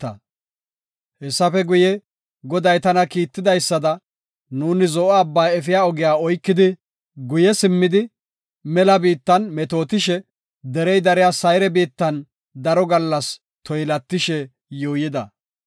Hessafe guye, Goday tana kiittidaysada, nuuni Zo7o Abbaa efiya ogiya oykidi guye simmidi mela biitta metootishe, derey dariya Sayre biittan daro gallasa toylatishe yuuyida.